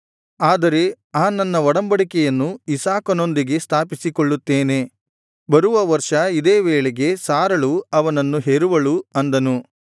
ಆದರೆ ಆ ನನ್ನ ಒಡಂಬಡಿಕೆಯನ್ನು ಇಸಾಕನೊಂದಿಗೆ ಸ್ಥಾಪಿಸಿಕೊಳ್ಳುತ್ತೇನೆ ಬರುವ ವರ್ಷ ಇದೇ ವೇಳೆಗೆ ಸಾರಳು ಅವನನ್ನು ಹೆರುವಳು ಅಂದನು